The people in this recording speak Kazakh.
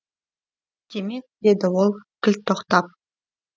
демек деді ол кілт тоқтап